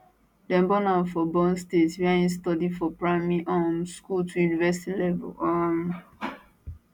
dem born am for born state wia im study from primary um school to university level um